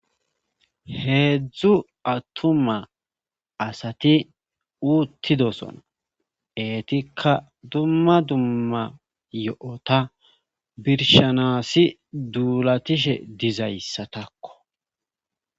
heedzdzu atuma asati uuttidosona eetikka dumma dumma yo7ota birshanasi duulatishe dizayssatakko